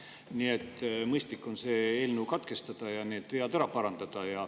Nii et mõistlik on selle eelnõu katkestada ja need vead ära parandada.